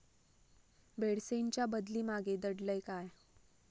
बेडसेंच्या बदली मागे दडलंय काय?